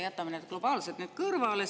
Jätame need globaalsed nüüd kõrvale.